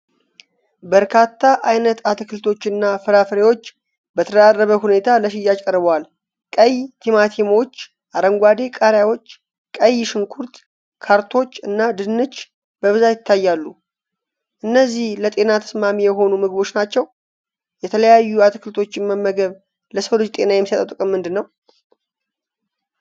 በርካታ ዓይነት አትክልቶችና ፍራፍሬዎች በተደራረበ ሁኔታ ለሽያጭ ቀርበዋል። ቀይ ቲማቲሞች፣ አረንጓዴ ቃሪያዎች፣ ቀይ ሽንኩርት፣ ካሮቶች እና ድንች በብዛት ይታያሉ። እነዚህ ለጤና ተስማሚ የሆኑ ምግቦች ናቸው። የተለያዩ አትክልቶችን መመገብ ለሰው ልጅ ጤና የሚሰጠው ጥቅም ምንድን ነው?